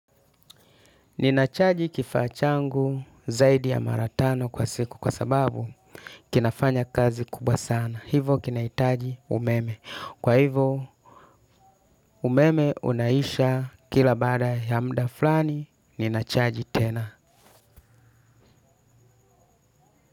Nina chaji kifaa changu zaidi ya mara tano kwa siku kwa sababu kinafanya kazi kubwa sana. Hivo kinahitaji umeme. Kwa hivo. Umeme unaisha kila baada ya muda fulani, ninachaji tena.